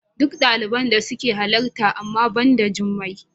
Duk daliban da suka halarta amma ba da Jummai.